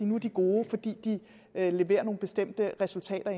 nu er de gode fordi de leverer nogle bestemte resultater